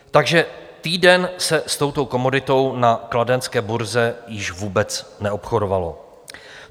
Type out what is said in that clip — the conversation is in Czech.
Takže týden se s touto komoditou na kladenské burze již vůbec neobchodovalo.